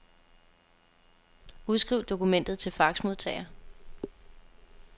Udskriv dokumentet til faxmodtager.